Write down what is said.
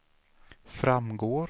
framgår